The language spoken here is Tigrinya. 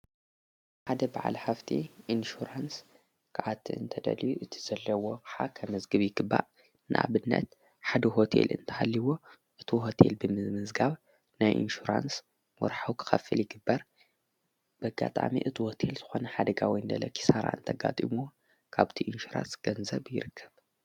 ሓደ በዓል ሃፍቲ ኢንሹራንስ ክኣቲ እንተደልዩ እቲ ዘለዎ ኣቕሓ ኸመዝግብ ይግባእ፡፡ ንኣብነት ሓደ ሁቴል እንተሃልይዎ እቲ ሆቴል ብምምዝጋብ ናይ ኢንሽራንስ ወራሓዊ ክኸፍል ይግበር፡፡ በጋጣሚ እቲ ሆቴል ዝኾነ ሓደጋ ወይ ለለ ኺሣራ እንተጋጢምዎ ካብቲ ኢንሽራሽ ገንዘብ ይርከብ፡፡